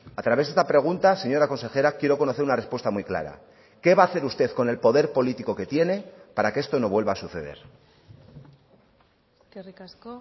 a través de esta pregunta señora consejera quiero conocer una respuesta muy clara qué va a hacer usted con el poder político que tiene para que esto no vuelva a suceder eskerrik asko